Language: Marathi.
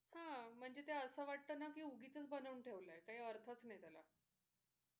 हा म्हणजे असं वाटत ना कि उगीचच बनवून ठेवलं आहे काही अर्थच नाही त्याला.